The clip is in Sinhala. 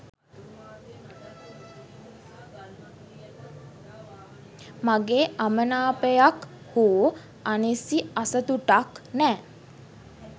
මගේ අමනාපයක් හෝ අනිසි අසතුටක් නෑ.